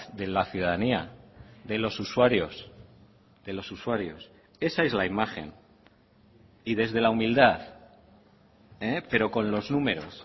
de la ciudadanía de los usuarios de los usuarios esa es la imagen y desde la humildad pero con los números